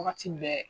Wagati bɛɛ